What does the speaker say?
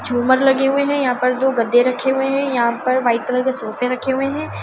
झूमर लगे पर दो गद्दे रखे हुए हैं यहाँ पर वाइट कलर के सोफे रखे हुए है।